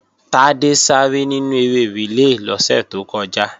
Tádé sáré nínú eré rìlé lọ́sẹ̀ tó kọjá